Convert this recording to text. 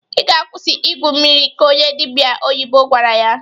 "I ga-akwụsị igwu mmiri!" ka onye dịbịa oyibo gwara ya.